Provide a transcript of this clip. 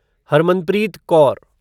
Harmanpreet Kaur